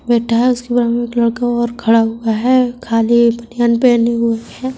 बैठा है उसके बगल में एक लड़का और खड़ा हुआ है खाली एक बनियान पहना हुए हैं।